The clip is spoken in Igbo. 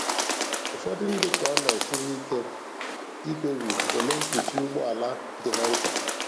Ụfọdụ ndị ka ọ na-esiri ike ikpebi ole mkpuchi ụgbọ ala dị ha mkpa.